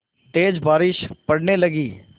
तेज़ बारिश पड़ने लगी